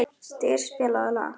Styr, spilaðu lag.